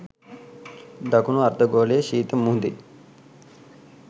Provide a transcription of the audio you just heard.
දකුණු අර්ධගෝලයේ ශීත මුහුදේ